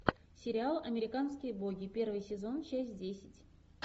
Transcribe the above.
сериал американские боги первый сезон часть десять